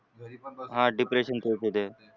depression खुप येते.